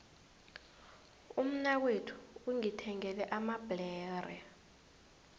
umnakwethu ungithengele amabhlere